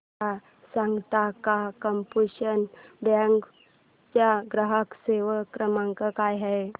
मला सांगता का कॉर्पोरेशन बँक चा ग्राहक सेवा क्रमांक काय आहे